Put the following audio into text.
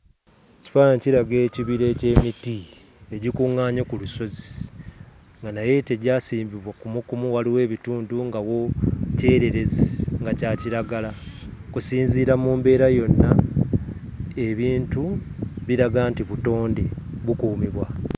Ekifaananyi kiraga ekibira eky'emiti egikuŋŋaanye ku lusozi nga naye tegyasimbibwa kumuukumu. Waliwo ebitundu nga wo kyereerezi nga kya kiragala. Okusinziira mu mbeera yonna, ebintu biraga nti butonde bukuumibwa.